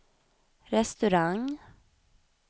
restaurang